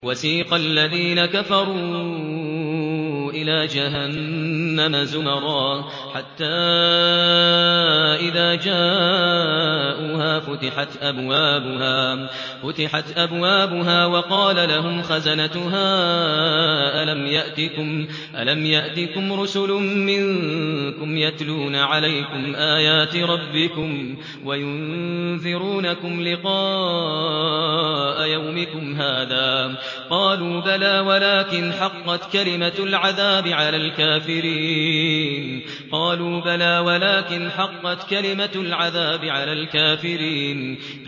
وَسِيقَ الَّذِينَ كَفَرُوا إِلَىٰ جَهَنَّمَ زُمَرًا ۖ حَتَّىٰ إِذَا جَاءُوهَا فُتِحَتْ أَبْوَابُهَا وَقَالَ لَهُمْ خَزَنَتُهَا أَلَمْ يَأْتِكُمْ رُسُلٌ مِّنكُمْ يَتْلُونَ عَلَيْكُمْ آيَاتِ رَبِّكُمْ وَيُنذِرُونَكُمْ لِقَاءَ يَوْمِكُمْ هَٰذَا ۚ قَالُوا بَلَىٰ وَلَٰكِنْ حَقَّتْ كَلِمَةُ الْعَذَابِ عَلَى الْكَافِرِينَ